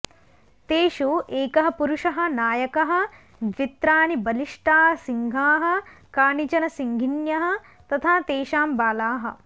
तेषु एकः पुरुषः नायकः द्वित्राणि बलिष्टाः सिंहाः कानिचन सिंहिण्यः तथा तेषां बालाः